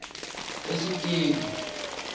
esiteki